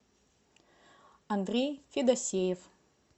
андрей федосеев